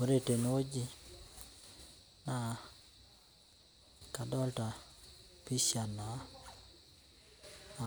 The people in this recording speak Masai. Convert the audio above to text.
Ore tenewuji naa adolita pisha naa